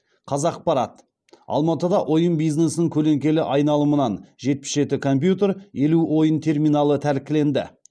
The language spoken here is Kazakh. қазақпарат алматыда ойын бизнесінің көлеңкелі айналымынан жетпіс жеті компьютер елу ойын терминалы тәркіленді